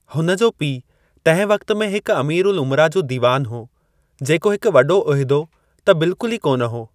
हुन जो पीउ तंहिं वक़्त में हिकु अमीर-उल-उमरा जो दीवानु हो, जेको हिकु वॾो उहिदो त बिलकुल ई कोन हो।